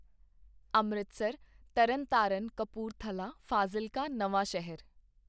ਅੰਮ੍ਰਿਤਸਰ ਤਰਨਤਾਰਨ ਕਪੂਰਥਲਾ ਫਾਜ਼ਿਲਕਾ ਨਵਾਂ ਸ਼ਹਿਰ